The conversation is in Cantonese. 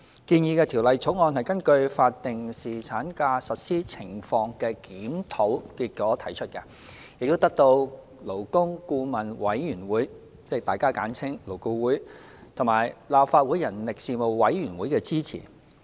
建議的《條例草案》根據法定侍產假實施情況的檢討結果提出，並得到勞工顧問委員會及立法會人力事務委員會的支持。